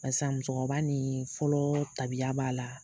musokɔrɔba ni fɔlɔ tabiya b'a la